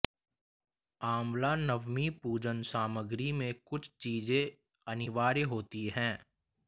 आंवला नवमी पूजन सामग्री में कुछ चीजें अनिवार्य होती है